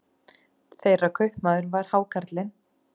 Þeirra kaupmaður var hákarlinn